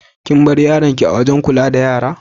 Kin bar yaron ki a'wajen kulla da yara?